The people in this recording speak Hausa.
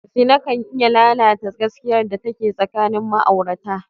Zina ka iya lalata gaskiyar da take tsakanin ma'aurata.